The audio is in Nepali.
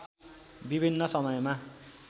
विभिन्न समयमा